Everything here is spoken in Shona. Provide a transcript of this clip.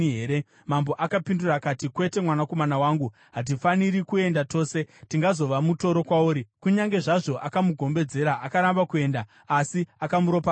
Mambo akapindura akati, “Kwete, mwanakomana wangu. Hatifaniri kuenda tose; tingazova mutoro kwauri.” Kunyange zvazvo akamugombedzera, akaramba kuenda, asi akamuropafadza.